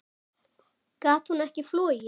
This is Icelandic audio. Gat hún ekki flogið?